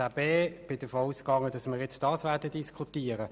Ich bin davon ausgegangen, dass wir diese Anträge jetzt diskutieren.